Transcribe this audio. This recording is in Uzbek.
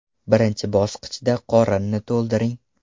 Birinchi bosqichda qorinni to‘ldiring.